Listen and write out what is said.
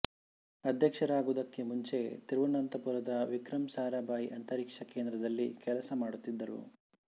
ಅಧ್ಯಕ್ಷರಾಗುವುದಕ್ಕೆ ಮುಂಚೆ ತಿರುವನಂತಪುರದ ವಿಕ್ರಮ್ ಸಾರಾಭಾಯಿ ಅಂತರಿಕ್ಷ ಕೇಂದ್ರದಲ್ಲಿ ಕೆಲಸ ಮಾಡುತ್ತಿದ್ದರು